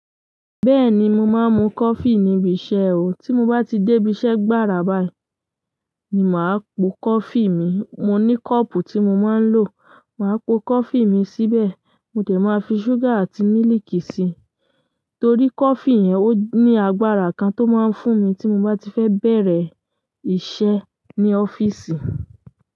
Bẹ́ẹ̀ni, mo máa ń mu coffee níbi iṣẹ́ o. Tí mo bá ti débi iṣẹ́ gbára báyìí ni màá pò coffee mi. Mo ní cup tí mo máa ń lò, màá pò coffee mi síbẹ̀. Mo dẹ̀ máa fi sugar àti mílíkì síi. Torí coffee yẹn, oni agbára kan tí o má ń fúnmi tí moba tife bẹ̀rẹ̀ iṣẹ́ ní office.